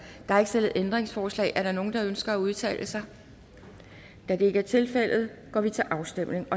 er ikke stillet ændringsforslag er der nogen der ønsker at udtale sig da det ikke er tilfældet går vi til afstemning